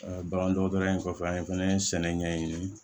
bagan dɔgɔtɔrɔya in kɔfɛ an ye fɛnɛ sɛnɛ ɲɛɲini